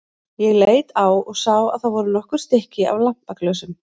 Ég leit á og sá að það voru nokkur stykki af lampaglösum.